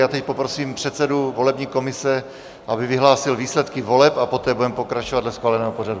Já teď poprosím předsedu volební komise, aby vyhlásil výsledky voleb, a poté budeme pokračovat dle schváleného pořadu.